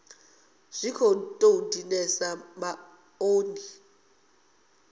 a zwi tou dinesa maṱoni